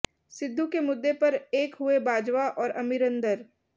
सिद्धू के मुद्दे पर एक हुए बाजवा और अमरिंदर